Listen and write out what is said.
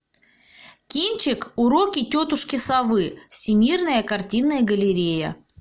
кинчик уроки тетушки совы всемирная картинная галерея